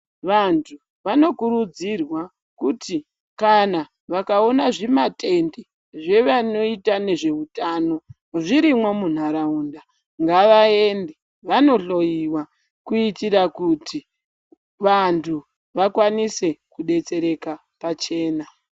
Vantu vanokurudzirwa kuti kana vakaona zvimatende zvevanoita nezvehutano zvirimwo munharaunda ngavaende vanohloiwa kuitira kuti vantu vakwanise kudetsereka pachena.